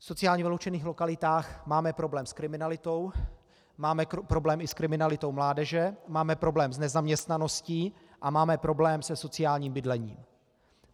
V sociálně vyloučených lokalitách máme problém s kriminalitou, máme problém i s kriminalitou mládeže, máme problém s nezaměstnaností a máme problém se sociálním bydlením.